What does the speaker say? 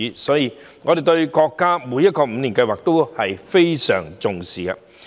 因此，我們對國家每個五年計劃都應該重視。